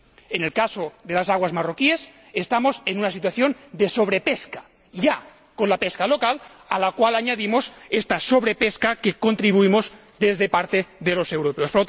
En el caso de las aguas marroquíes, estamos en una situación de sobrepesca ya con la pesca local, a la cual añadimos esta sobrepesca a la que contribuimos parte de los europeos.